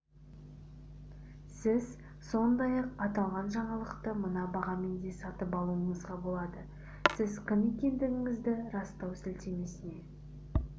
сіз сондай-ақ аталған жаңалықты мына бағамен де сатып алуыңызға болады сіз кім екендігіңізді растау сілтемесіне